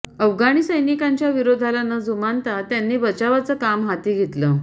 अफगाणी सैनिकांच्या विरोधाला न जुमानता त्यांनी बचावाचं काम हाती घेतलं